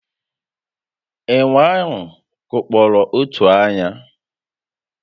Ènwè ahụ kụkpọrọ otu ányá